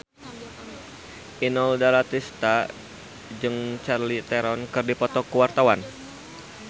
Inul Daratista jeung Charlize Theron keur dipoto ku wartawan